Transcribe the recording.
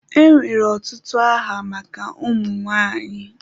Enwere ọtụtụ aha maka ụmụ nwanyị.